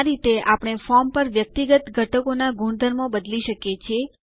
આ રીતે આપણે ફોર્મ પર વ્યક્તિગત ઘટકોના ગુણધર્મો બદલી શકીએ છીએ